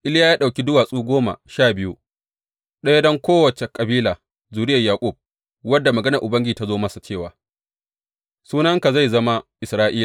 Iliya ya ɗauki duwatsu goma sha biyu, ɗaya don kowace kabila zuriyar Yaƙub, wanda maganar Ubangiji ta zo masa, cewa, Sunanka zai zama Isra’ila.